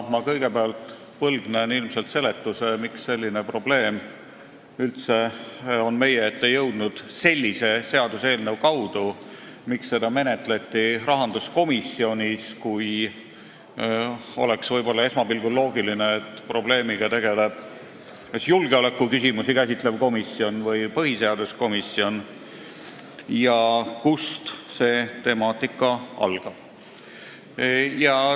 Kõigepealt aga võlgnen ilmselt seletuse, miks on selline probleem üldse meie ette jõudnud sellise seaduseelnõu kaudu, miks seda menetleti rahanduskomisjonis – kuigi esmapilgul oleks loogiline, et probleemiga tegeleks kas julgeolekuküsimusi käsitlev komisjon või põhiseaduskomisjon – ja kust see temaatika algab.